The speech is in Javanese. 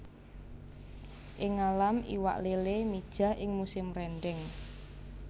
Ing ngalam iwak lélé mijah ing musim rendheng